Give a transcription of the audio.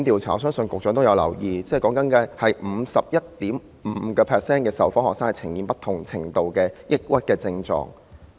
我相信局長有留意，有組織曾進行調查，發現有 51.5% 的受訪學生呈現不同程度的抑鬱症狀。